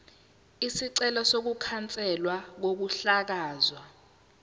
isicelo sokukhanselwa kokuhlakazwa